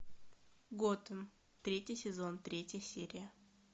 готэм третий сезон третья серия